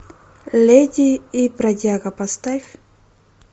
леди и бродяга поставь